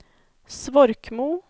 Svorkmo